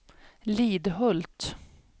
Lidhult